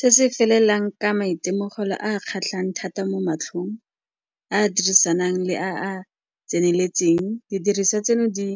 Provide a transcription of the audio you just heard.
Se se felelang ka maitemogelo a a kgatlhang thata mo matlhong, a a dirisanang le a a tseneletseng, didiriswa tseno di